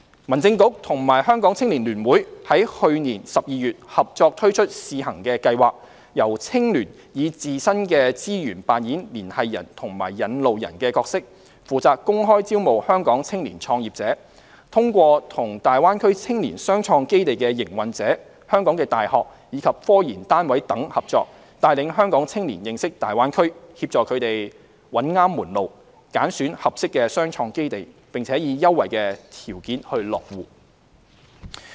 民政事務局與香港青年聯會於去年12月合作推出試行計劃，由青聯以自身的資源扮演"連繫人"和"引路人"的角色，負責公開招募香港青年創業者，通過與大灣區青年雙創基地的營運者、香港的大學，以及科研單位等合作，帶領香港青年認識大灣區的機遇，協助他們找對門路，揀選合適的雙創基地，並以優惠條件落戶。